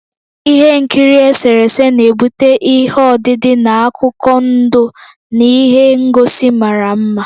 Ihe nkiri eserese na-ebute ihe odide na akụkọ ndụ na ihe ngosi mara mma.